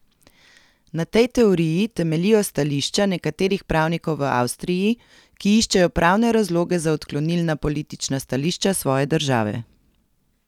Na tej teoriji temeljijo stališča nekaterih pravnikov v Avstriji, ki iščejo pravne razloge za odklonilna politična stališča svoje države.